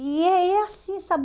E é e é assim, sabe?